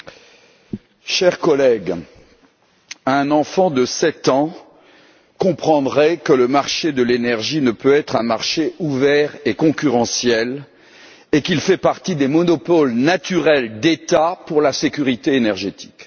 Madame la Présidente, chers collègues, un enfant de sept ans comprendrait que le marché de l'énergie ne peut être un marché ouvert et concurrentiel et qu'il fait partie des monopoles naturels d'État pour la sécurité énergétique.